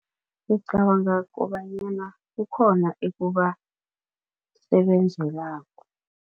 Ngicabanga kobanyana kukhona ekubasebenzelako.